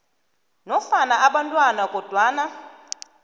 nofana abantwana kodwana